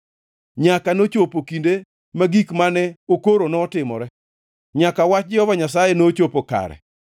nyaka nochopo kinde ma gik mane okoro notimore, nyaka wach Jehova Nyasaye nochopo kare.